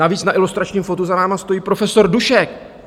Navíc na ilustračním fotu za vámi stojí profesor Dušek.